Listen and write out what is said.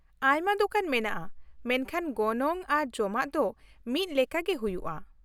ᱟᱭᱢᱟ ᱫᱳᱠᱟᱱ ᱢᱮᱱᱟᱜᱼᱟ, ᱢᱮᱱᱠᱷᱟᱱ ᱜᱚᱱᱚᱝ ᱟᱨ ᱡᱚᱢᱟᱜ ᱫᱚ ᱢᱤᱫ ᱞᱮᱠᱟ ᱜᱮ ᱦᱩᱭᱩᱜᱼᱟ ᱾